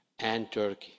and Turkey.